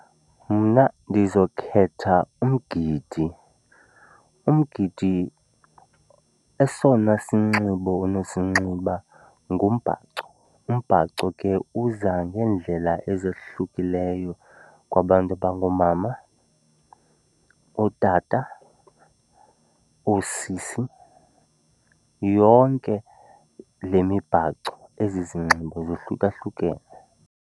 Mna ndizokhetha umgidi. Umgidi esona sinxibo unosinxiba ngumbhaco. Umbhaco ke uza ngeendlela ezohlukileyo kwabantu abangoomama, ootata, oosisi. Yonke le mibhaco, ezi zinxibo, zohlukahlukene.